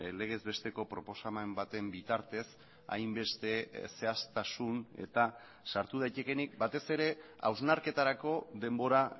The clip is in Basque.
legez besteko proposamen baten bitartez hainbeste zehaztasun eta sartu daitekeenik batez ere hausnarketarako denbora